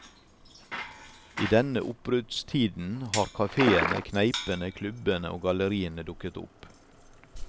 I denne oppbruddstiden har kafeene, kneipene, klubbene og galleriene dukket opp.